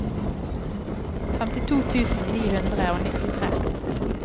femtito tusen ni hundre og nittitre